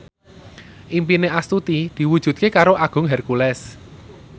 impine Astuti diwujudke karo Agung Hercules